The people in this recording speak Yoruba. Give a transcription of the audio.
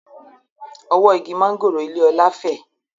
Ọwọ́ igi mángòrò ilé Ọlá fẹ́